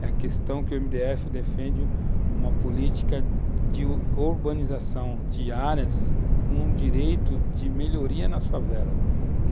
É a questão que o MDF defende uma política de urbanização de áreas com direito de melhoria nas favelas.